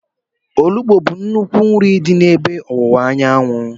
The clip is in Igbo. Ofe onugbu bụ nnukwu nri dị n'ebe ọwụwa anyanwụ.